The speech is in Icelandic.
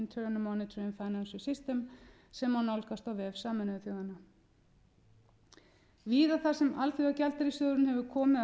financial system sem má nálgast á vef sameinuðu þjóðanna víða þar sem alþjóðagjaldeyrissjóðurinn hefur komið að